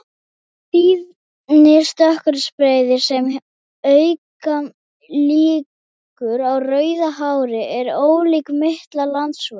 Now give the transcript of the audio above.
Tíðni stökkbreytinga sem auka líkur á rauðu hári er ólík milli landsvæða.